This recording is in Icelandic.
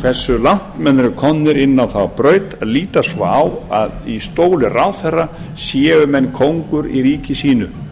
hversu langt menn eru komnir inn á þá braut að líta svo á að í stóli ráðherra séu menn kóngur í ríki sínu